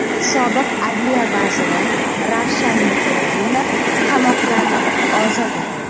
Sobiq adliya vaziri Ravshan Muhiddinov qamoqdan ozod etildi.